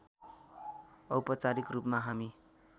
औपचारिक रूपमा हामी